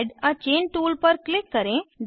add a chain tool पर click करें